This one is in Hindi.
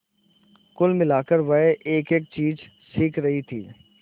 कुल मिलाकर वह एकएक चीज सीख रही थी